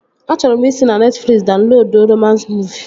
Achọrọ m ị si na Netfliksi daunloduo romans muuvi